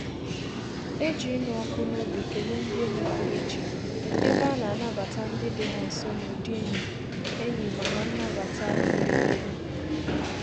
E ji ịnụ ọkụ n'obi kelee ndị enyi pụrụ ichè, ebe a na-anabata ndị dị ha nso n'ụdị enyi enyi ma na nnabata nwere ndobe.